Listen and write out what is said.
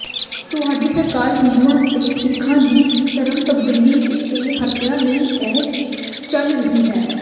ਤੁਹਾਡੀ ਸਰਕਾਰ ਹਿੰਦੂਆਂ ਤੇ ਸਿੱਖਾਂ ਦੀ ਧਰਮ ਤਬਦੀਲੀ ਤੇ ਹੱਤਿਆ ਲਈ ਹੀ ਚੱਲ ਰਹੀ ਹੈ